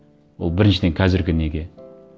ол біріншіден қазіргі неге